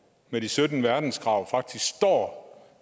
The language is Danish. med de sytten verdenskrav faktisk står